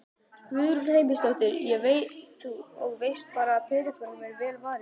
Guðrún Heimisdóttir: Og veist bara að peningunum er vel varið?